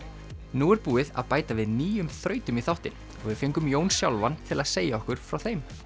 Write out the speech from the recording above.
nú er búið að bæta við nýjum þrautum í þáttinn og við fengum Jón sjálfan til að segja okkur frá þeim